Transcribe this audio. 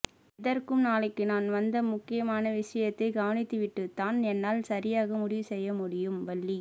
எதற்கும் நாளைக்கு நான் வந்த முக்கியமான விசயத்தைக் கவனித்துவிட்டுத்தான் என்னால் சரியாக முடிவு செய்யமுடியும் வள்ளி